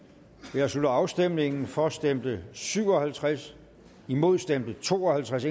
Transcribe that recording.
jeg slutter afstemningen for stemte syv og halvtreds imod stemte to og halvtreds